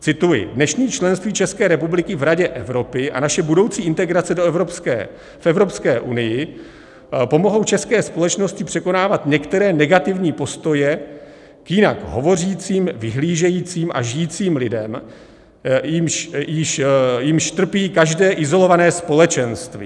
Cituji: Dnešní členství České republiky v Radě Evropy a naše budoucí integrace v Evropské unie pomohou české společnosti překonávat některé negativní postoje k jinak hovořícím, vyhlížejícím a žijícím lidem, jimiž trpí každé izolované společenství.